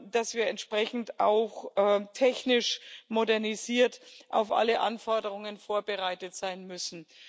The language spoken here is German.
dass wir entsprechend auch technisch modernisiert auf alle Anforderungen vorbereitet sein müssen.